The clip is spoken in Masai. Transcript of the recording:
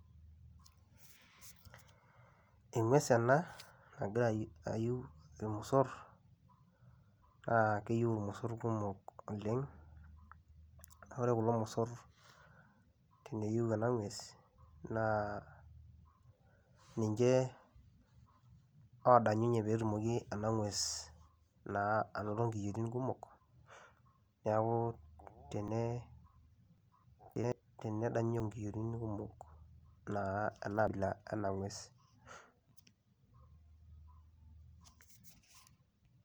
Eng'ues ena nagiraa aiyuu emiisoor aa keiyeu emiisoor kumook oleng ore kuloo mosoor teneiyeu ana ng'ues ninchee odanyuye pee etumooki ena ng'uees naa atumoo nkiyootin kumook . Naaku tenee adayunyee nkiyotin kumook naa ana ng'uesi.